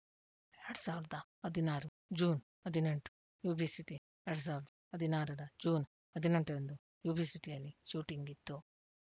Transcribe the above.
ಎರಡ್ ಸಾವಿರದ ಹದಿನಾರು ಜೂನ್‌ ಹದಿನೆಂಟು ಯುಬಿ ಸಿಟಿಎರಡ್ ಸಾವಿರ ಹದಿನಾರರ ಜೂನ್‌ ಹದಿನೆಂಟರಂದು ಯುಬಿ ಸಿಟಿಯಲ್ಲಿ ಶೂಟಿಂಗ್‌ ಇತ್ತು